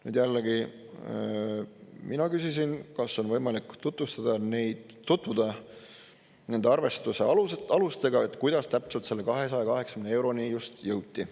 Nüüd jällegi mina küsisin, kas on võimalik tutvuda nende arvestuste alustega, kuidas täpselt selle 280 euroni jõuti.